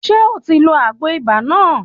Ṣé o ti lo àgbo ibà náà?